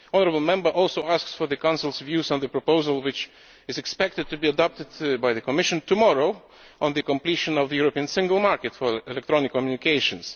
The honourable Member also asks for the Council's views on the proposal which is expected to be adopted by the Commission tomorrow on the completion of the European single market for electronic communications.